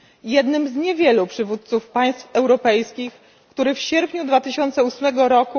jednym z niewielu przywódców państw europejskich, który w sierpniu 2008 r.